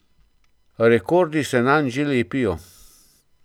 Rekordi se nanj že lepijo.